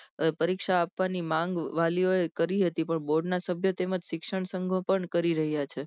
પરીક્ષા આપવાની માંગ વાલીઓ એ કરી હતી પણ બોર્ડ ના શબ્દો તેમ જ શિક્ષણ સંઘો પણ કરી રહ્યા છે